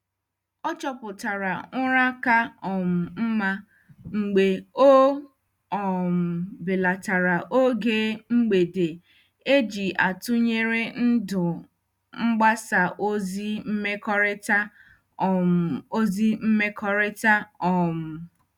Ọ chọpụtara ụra ka um mma mgbe ọ um belatara oge mgbede eji atụnyere ndụ mgbasa ozi mmekọrịta. um ozi mmekọrịta. um